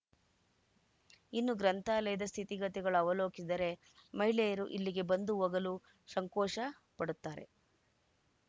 ಇನ್ನೂ ಗ್ರಂಥಾಲಯದ ಸ್ಥಿತಿಗತಿಗಳು ಅವಲೋಕಿದರೆ ಮಹಿಳೆಯರು ಇಲ್ಲಿಗೆ ಬಂದು ಹೋಗಲು ಸಂಕೋಷ ಪಡುತ್ತಾರೆ